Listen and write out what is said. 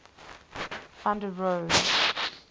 van der rohe